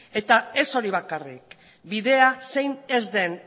eta ez hori bakarrik bidea zein ez den